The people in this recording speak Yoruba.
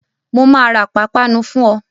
Mo máa ra pápánu fún ọ